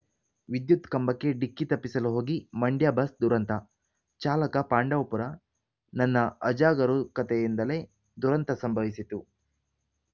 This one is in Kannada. ವಿದ್ಯುತ್‌ ಕಂಬಕ್ಕೆ ಡಿಕ್ಕಿ ತಪ್ಪಿಸಲು ಹೋಗಿ ಮಂಡ್ಯ ಬಸ್‌ ದುರಂತ ಚಾಲಕ ಪಾಂಡವಪುರ ನನ್ನ ಅಜಾಗರೂಕತೆಯಿಂದಲೇ ದುರಂತ ಸಂಭವಿಸಿತು